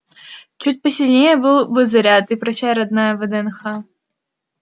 чуть посильнее был бы заряд и прощай родная вднх